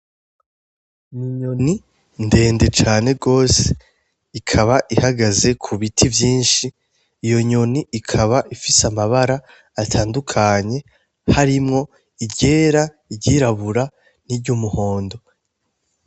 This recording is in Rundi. N'inyoni ndende cane gose ikaba ihagaze kubiti vyinshi, iyo nyoni ikaba ifise amabara atandukanye harimwo iryera, iryirabura, n'iryumuhondo.